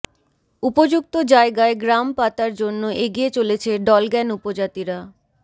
উপযুক্ত জায়গায় গ্রাম পাতার জন্য এগিয়ে চলেছে ডলগ্যান উপজাতিরা